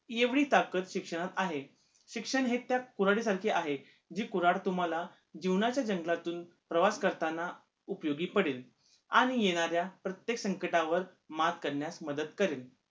एवढी ताकत शिक्षणात आहे शिक्षण हे त्या कुऱ्हाडीसारखे आहे जी कुऱ्हाड तुम्हाला जीवनाच्या जंगलातून प्रवास करताना उपयोगी पडेल आणि येणाऱ्या प्रत्येक संकटावर मात करण्यास मदत करेल